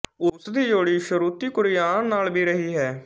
ਉਸ ਦੀ ਜੋੜੀ ਸ਼ਰੂਤੀ ਕੁਰੀਆਨ ਨਾਲ ਭੀ ਰਹੀ ਹੈ